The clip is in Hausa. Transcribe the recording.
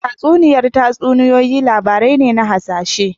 Tatsuniyar tatsuniyoyi labarai ne na hasashe